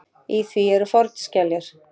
Í því eru fornskeljar.